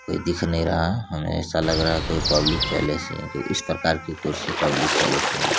कोई दिख नहीं रहा हमे ऐसा लग रहा है कोई पब्लिक प्लेस ही है क्यूंकि इस प्रकार की कुर्सी पब्लिक प्लेस मे--